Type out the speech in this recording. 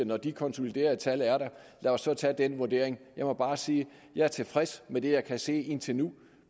når de konsoliderede tal er der lad os så tage den vurdering jeg må bare sige at jeg er tilfreds med det jeg kan se indtil nu